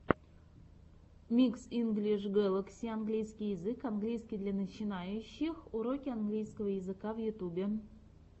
микс инглиш гэлакси английский язык английский для начинающих уроки английского языка в ютюбе